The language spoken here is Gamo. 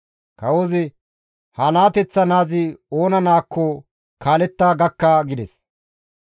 Kawozi, «Ha naateththa naazi oona naakko kaaletta gakka» gides.